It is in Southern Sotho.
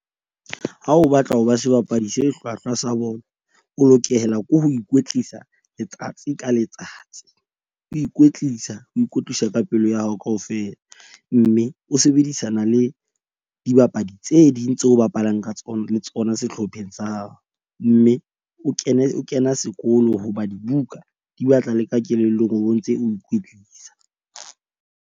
Ha o batla ho ba sebapadi se hlwahlwa sa bolo, o lokela ke ho ikwetlisa letsatsi ka letsatsi o ikwetlisa, o ikwetlisa ka pelo ya hao kaofela. Mme o sebedisana le dibapadi tse ding tseo o bapalang ka tsona le tsona sehlopheng sa hao. Mme o kene, o kena sekolo hobane buka di batla le ka kelellong, o bo ntse o ikwetlisa.